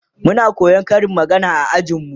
Muna koyan Karin magana a ajin mu